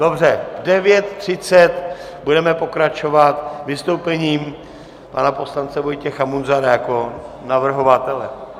Dobře, v 9.30 budeme pokračovat vystoupením pana poslance Vojtěcha Munzara jako navrhovatele.